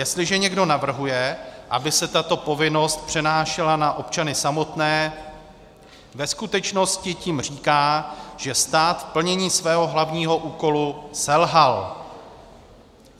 Jestliže někdo navrhuje, aby se tato povinnost přenášela na občany samotné, ve skutečnosti tím říká, že stát v plnění svého hlavního úkolu selhal.